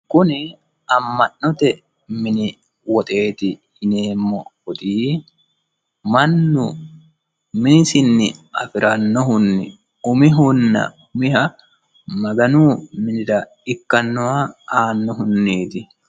kuni amma'note mini woxeeti yineemmohu woxi mannu minisinni afirannohunni umihanna umiha maganu minira ikkannoha aannohunniiti.